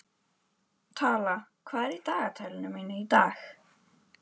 Tala, hvað er í dagatalinu mínu í dag?